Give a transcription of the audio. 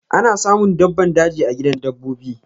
Ana samun dabbban daji a gidan dabbobi.